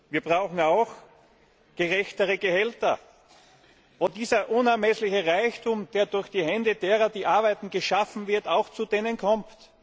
Wir brauchen auch gerechtere Gehälter, wo dieser unermessliche Reichtum, der durch die Hände derer, die arbeiten, geschaffen wird auch zu denen kommt.